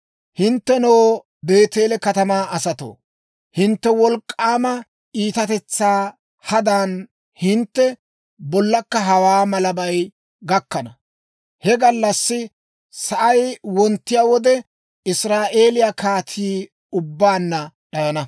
Hinttenoo, Beeteele katamaa asatoo, hintte wolk'k'aama iitatetsaa hadan hintte bollakka hawaa malabay gakkana. He gallassi sa'ay wonttiyaa wode, Israa'eeliyaa kaatii ubbaanna d'ayana.